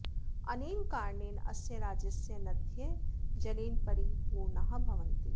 अनेन कारणेन अस्य राज्यस्य नद्यः जलेन परिपूर्णाः भवन्ति